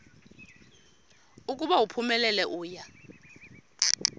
ukuba uphumelele uya